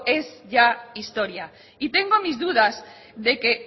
es ya historia y tengo mis dudas de que